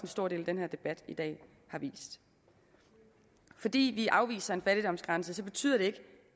stor del af denne debat i dag har vist fordi vi afviser en fattigdomsgrænse betyder det ikke